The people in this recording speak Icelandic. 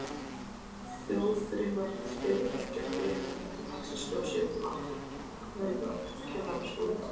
Þjóðþrifafyrirtæki og félög líta dagsins ljós í öllum áttum, Kennaraskólinn